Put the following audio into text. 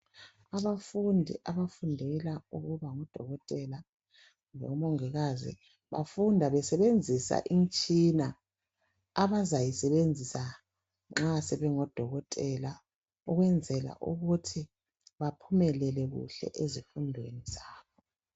abafundi abafundela ukuba ngodokotela lomongikazi bafunda besebenzisa imtshina abazayi sebenzisa nxa sebengo dokotela ukwenzela ukuthi baphumelele kuhle ezifundweni zabo.